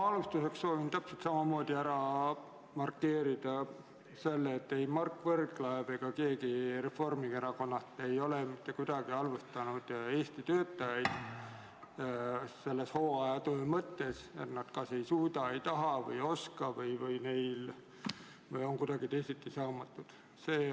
Ma alustuseks soovin täpselt samamoodi ära markeerida selle, et ei Mart Võrklaev ega keegi Reformierakonnast ei ole mitte kuidagi halvustanud Eesti töötajaid hooajatöö mõttes, et nad kas ei suuda, ei taha või ei oska või on kuidagi teisiti saamatud.